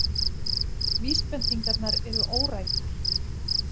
Vísbendingarnar eru órækar.